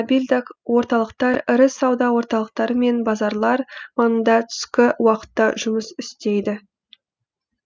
мобильдік орталықтар ірі сауда орталықтары мен базарлар маңында түскі уақытта жұмыс істейді